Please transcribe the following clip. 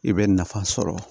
I bɛ nafa sɔrɔ